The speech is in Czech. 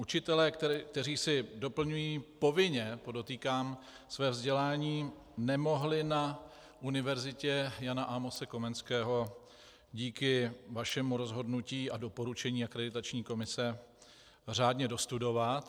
Učitelé, kteří si doplňují - povinně, podotýkám - své vzdělání, nemohli na Univerzitě Jana Amose Komenského díky vašemu rozhodnutí a doporučení Akreditační komise řádně dostudovat.